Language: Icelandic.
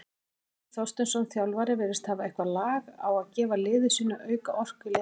Heimir Þorsteinsson, þjálfari virðist hafa eitthvað lag á gefa liði sínu auka orku í leikhléi.